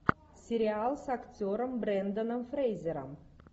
сериал с актером бренданом фрейзером